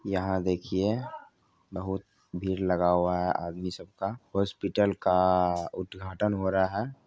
यहाँ देखिये बहोत भीड़ लगा हुआ है आदमी सबका हॉस्पिटल का उद्घाटन हो रहा है।